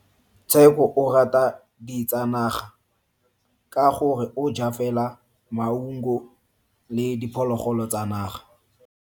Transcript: Tsheko o rata ditsanaga ka gore o ja fela maungo le diphologolo tsa naga.